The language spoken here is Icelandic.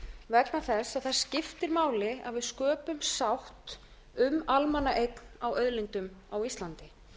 vegna þess að það skiptir máli að við sköpum sátt um almannaeign á auðlindum á íslandi